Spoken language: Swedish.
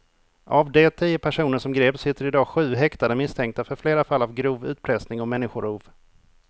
Av de tio personer som greps sitter i dag sju häktade misstänkta för flera fall av grov utpressning och människorov.